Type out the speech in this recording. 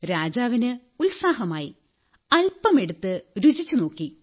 രാജാവിന് ഉത്സാഹമായി അല്പമെടുത്തു രുചിച്ചുനോക്കി